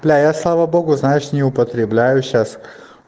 бля я слава богу знаешь не употребляю сейчас